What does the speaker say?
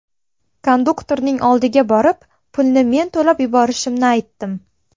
Konduktorning oldiga borib, pulni men to‘lab yuborishimni aytdim.